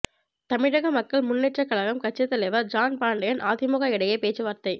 தமிழக மக்கள் முன்னேற்றக் கழகம் கட்சித் தலைவர் ஜான் பாண்டியன் அதிமுக இடையே பேச்சுவார்த்தை